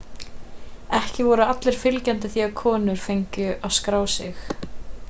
ekki voru allir fylgjandi því að konur fengu að skrá sig